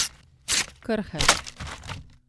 Krhelj.